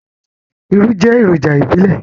Irú jẹ́ èròjà ìbílẹ̀.